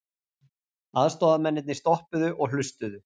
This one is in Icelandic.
Aðstoðamennirnir stoppuðu og hlustuðu.